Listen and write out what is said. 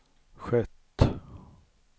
skett